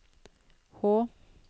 H